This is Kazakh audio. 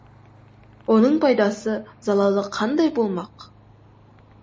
оның пайдасы залалы қандай болмақ